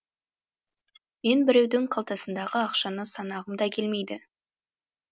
мен біреудің қалтасындағы ақшаны санағым да келмейді